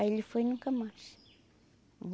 Aí ele foi nunca mais.